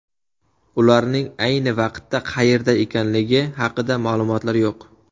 Ularning ayni vaqtda qayerda ekanligi haqida ma’lumotlar yo‘q.